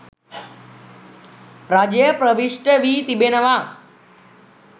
රජය ප්‍රවිෂ්ඨ වී තිබෙනවා